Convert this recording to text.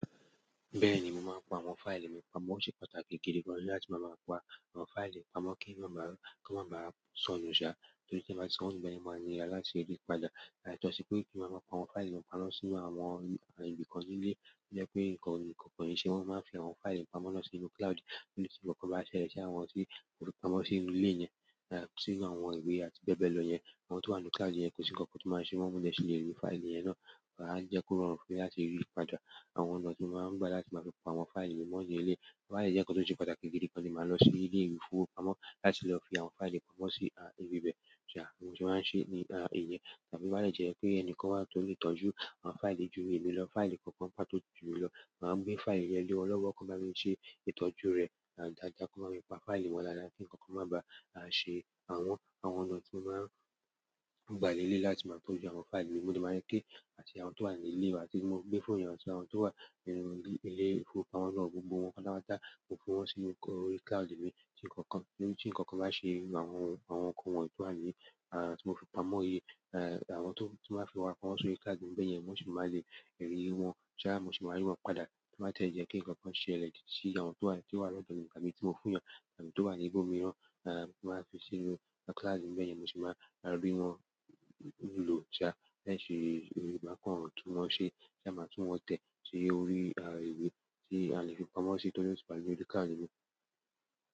Bẹ́ẹ̀ni, mo máa ń pa àwọn fáìlì mi pamọ́. Ó ṣe pàtàkì gidi gan-an láti máa pa àwọn fáìlì pamọ́ kí máa ba ko ma bá sonu ṣá. Torí tí n bá sonu beyen maa ni ala se yi padà. Yàtọ̀ si pe, mo ma nko àwọn failli mi pa mo si inú àwọn ibi kan nile, to je pe nkankan o ni se won, mo. Maa n fi àwọn failli pa mo na sínú cloud. Torí tí nǹkan bá ṣẹlẹ̀ sí àwọn tí mo fi pamọ́ sínú ilé yẹn, sínú àwọn ìwé àti bẹ́ẹ̀ bẹ́ẹ̀ lọ yẹn, àwọn tó wà nínú cloud yẹn kò sí ǹkan kan tí o máa ṣe wọn, mó de si lè rí fáìlì yẹn ná. A je ko rọrùn fún mi láti ri padà. Àwọn ọ̀nà tí mo máa ń gbà láti máa fi pa àwọn fáìlì mi mọ́ ni eleyi, to bá de jẹ́ ǹkan tó ṣe pàtàkì gidi gan ni màá lọ sí ilé ìfowópamọ́ láti lọ fi àwọn fáìlì pamọ́ sí ibi bẹ́ẹ̀. Ṣá, bi mo se maa n ṣe ní ìyẹ́. Tàbí to bá de jẹ́ pe ẹni kan wà tó lè tọ́jú àwọn fáìlì ju èmi lọ, fáìlì kankan pà tó ju mi lọ, màá gbé fáìlì yẹn lé wọn lọ́wọ́ kí wọ́n baa mi ṣe ìtọ́jú rẹ̀ dáadáa kí wọ́n má pa fáìlì mo daada kí ǹkan kan má ba à ṣe. Àwọn ọ̀nà tí mo máa ń gbà leleyi láti máa tọ́jú àwọn fáìlì mi, mo dẹ̀ máa ń gẹ́ àti àwọn tó wà nílé wa tí mo gbé fún wọn sì àwọn tó wà nínú ilé ìfowópamọ́ náà gbogbo wọn kálá má tàá ko fún wọn sínú orí cloud mi tí nǹkan kan bá ṣe irú àwọn nǹkan wọ́n tó wà ní, à tí mo fi pamọ́ yìí, àwọn tí mo wá fi pamọ́ sórí cloud mi beyẹn, wọ́n sì má lè rí wọn. Ṣá, mo sì máa rí wọn padà tí o bá tẹ́ jẹ́ pe ǹkan kan ṣele sí àwọn tó wà ti o wa nì odo mi nìkan èyí ti mo fún eeyan àbí to wa ni ibo mìíràn, mo wa fi sínú cloud mi beyen mo si ma ri won lo sa, ma kan tun won se, ma tun won te si orí ìwé, ti a le fi pa mo sile torí o ti wa ni orí cloud mi.